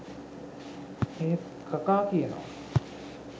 එහෙත් කකා කියනවා